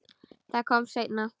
Það kom seinna.